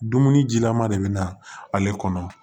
Dumuni jilaman de bɛ na ale kɔnɔ